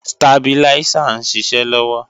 Stabiláísà ń ṣiṣẹ́ lọ́wọ́